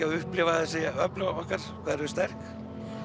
að upplifa þessi öfl okkar hvað þau eru sterk